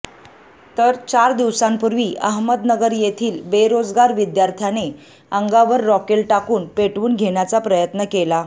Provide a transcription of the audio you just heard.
तर चार दिवसांपूर्वी अहमदनगर येथील बेरोजगार विद्यार्थ्याने अंगावर रॉकेल टाकून पेटवून घेण्याचा प्रयत्न केला